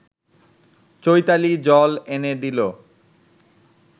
চৈতালি জল এনে দিল